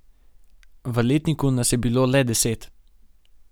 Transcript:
V letniku nas je bilo le deset.